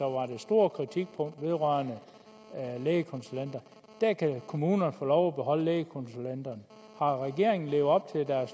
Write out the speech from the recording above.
var det store kritikpunkt vedrørende lægekonsulenter kan kommunerne få lov at beholde lægekonsulenterne har regeringen levet op